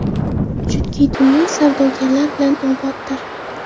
Chunki dunyo savdogarlar bilan oboddir!”.